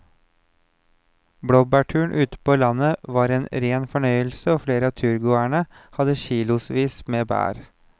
Blåbærturen ute på landet var en rein fornøyelse og flere av turgåerene hadde kilosvis med bær.